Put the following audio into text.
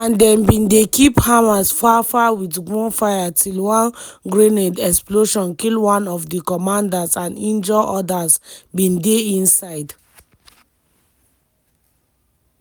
and dem bin dey keep hamas far far wit gunfire till one grenade explosion kill one of di commanders and injure odas bin dey inside.